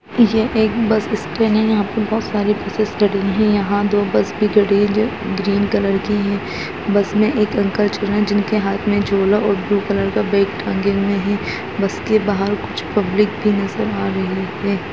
ये एक bus stand है यहाँ पर बहोत सारे बसेज खड़ी हैं यहाँ दो बस भी खड़ी हैं जो ग्रीन कलर की हैं बस में एक अंकल चढ़ रहे हैं जिन के हाथ में झोला और ब्लू कलर का बैग टाँगे हुए हैं बस के बहार कुछ पब्लिक भी नज़र आ रही है।